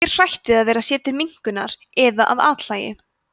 fólk er hrætt við að verða sér til minnkunar eða að athlægi